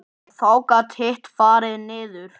Þá gat hitt farið niður.